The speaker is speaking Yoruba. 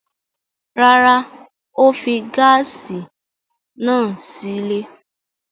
Rárá, ó fi gáásì náà sílé.